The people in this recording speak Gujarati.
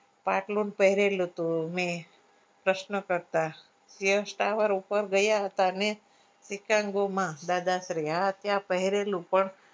પાટલુન પહરેલું હતું મેં પ્રશ્ન કરતા fiarce tower ઉપર ગયા હતા ને fitnango મા દાદાશ્રી હા ત્યાં પહરેલું પણ